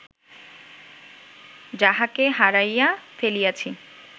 যাহাকে হারাইয়া ফেলিয়াছি